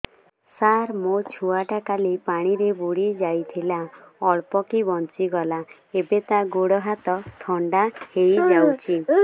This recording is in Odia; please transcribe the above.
ସାର ମୋ ଛୁଆ ଟା କାଲି ପାଣି ରେ ବୁଡି ଯାଇଥିଲା ଅଳ୍ପ କି ବଞ୍ଚି ଗଲା ଏବେ ତା ଗୋଡ଼ ହାତ ଥଣ୍ଡା ହେଇଯାଉଛି